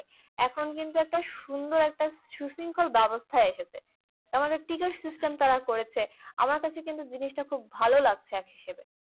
এখন কিন্তু একটা সুন্দর একটা সুশৃঙ্খল ব্যবস্থায় এসেছে। আবার ticket system তারা করেছে। আমার কাছে কিন্তু জিনিসটা খুব ভাল লাগছে এক হিসাবে।